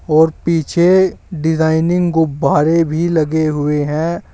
और पीछे डिजाइनिंग गुब्बारे भी लगे हुए हैं।